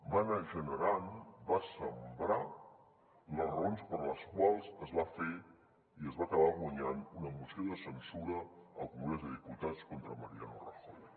va anar generant va sembrar les raons per les quals es va fer i es va acabar guanyant una moció de censura al congrés dels diputats contra mariano rajoy